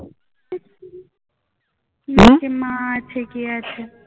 মা আছে কে আছে